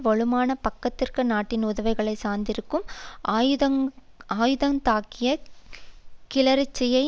வலுவான பக்கத்து நாட்டின் உதவிகளை சார்ந்திருக்கும் ஆயுதந்தாங்கிய கிளர்ச்சியை